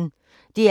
DR P1